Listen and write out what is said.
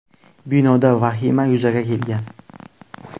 Binoda vahima yuzaga kelgan.